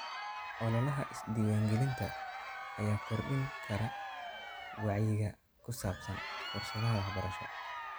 Ololaha is-diiwaangelinta ayaa kordhin kara wacyiga ku saabsan fursadaha waxbarasho.